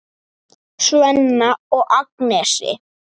Svenna og Agnesi.